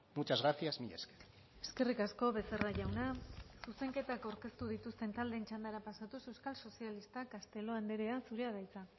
muchas gracias mila esker eskerrik asko becerra jauna zuzenketak aurkeztu dituzten taldeen txandara pasatuz euskal sozialistak castelo andrea zurea da hitza